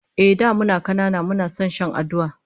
Ehh, da muna kanana muna son shan aduwa